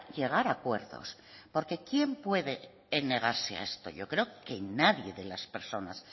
llegar a acuerdos por qué quién puede negarse a esto yo creo que nadie de las personas